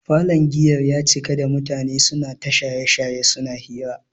Falon giyar ya cika da mutane suna ta shaye-shaye suna hira.